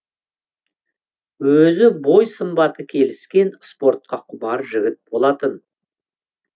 өзі бой сымбаты келіскен спортқа құмар жігіт болатын